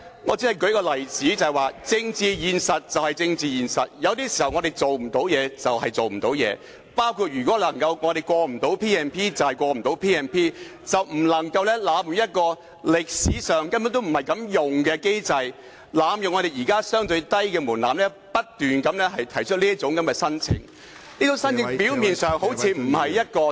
我只是在舉出例子說明政治現實便是政治現實，有時候事情做不到便是做不到，包括如果不能通過 P&P 便不能通過，但不能濫用這個歷史上根本不是作此用途的機制、濫用現時相對低的門檻，不斷提出申請，而這些申請表面上好像不是一個......